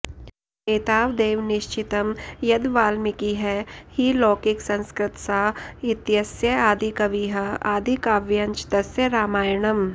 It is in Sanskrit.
एतावदेव निश्चितं यद् वाल्मीकिः हि लौकिकसंस्कृतसाहित्यस्य आदिकविः आदिकाव्यञ्च तस्य रामायणम्